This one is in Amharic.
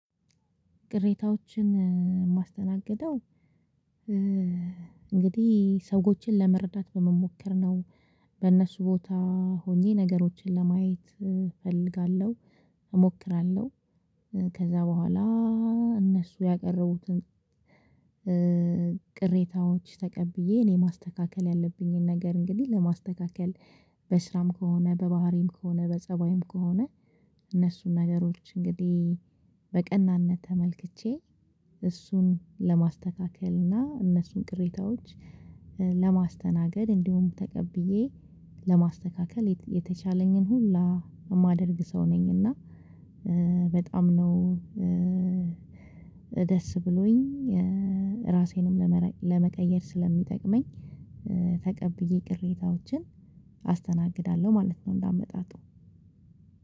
ቅሬታዎችን የማስተናግደው እንግዲህ ሰዎችን ለመረዳት በመሞከር ነው በእነሱ ቦታ ሆኜ ነገሮችን ለማየት እፈልጋለሁ እሞክራለሁ። ከዛ በኋላ እነሱ ያቀረቡትን ቅሬታዎች ተቀብዬ እኔ ማስተካከል ያለብኝን ነገር እንግዲህ ለማስተካከል በስራም ከሆነ በባህሪም ከሆነ በፀባይም ከሆነ እነሱን ነገሮች እንግዲህ በቀናነት ተመልክቼ እሱን ለማስተካከል እና እነሱን ቅሬታዎች ለማስተናገድ እንዲሁም ተቀብዬ ለማስተካከል የተቻለኝን ሁላ የማደርግ ሰው ነኝ። እና በጣም ነው ደስ ብሎኝ ራሴንም ለመቀየር ስለሚጠቅመኝ ተቀብዬ ቅሬታዎችን አስተናግዳለሁ ማለት ነው። እንዳመጣጡ